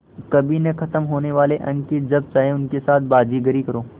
कभी न ख़त्म होने वाले अंक कि जब चाहे उनके साथ बाज़ीगरी करो